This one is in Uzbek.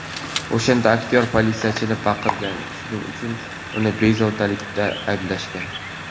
O‘shanda aktyor politsiyachiga baqirgan, shuning uchun uni bezorilikda ayblashgan.